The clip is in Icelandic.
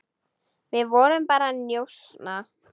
Við vorum bara að njósna,